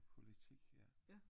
Politik ja